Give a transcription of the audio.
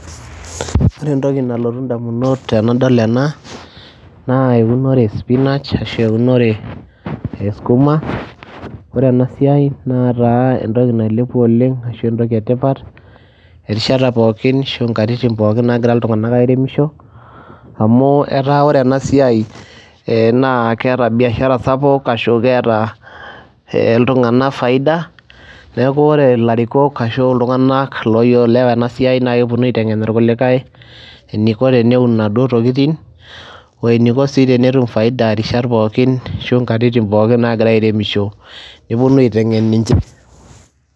Ore entoki nalotu ndamunot tenadol ena naa eunore e spinach ashu eunore e skuma, kore ena siai netaa entoki nailepua oleng' ashu entoki e tipat erishata pookin ashu nkatitin pookin naagira iltung'anak airemisho amu etaa ore ena siai ee naa keeta biashara sapuk ashu keeta iltung'anak faida. Neeku ore ilarikok ashu iltung'anak loiyo oielewa ena siai naake eponu aiteng'en irkulikai teniko teneun inaduo tokitin wo eniko sii tenetum faida rishat pookin ashu nkatitin pookin naagira airemisho neponu aiteng'en ninche.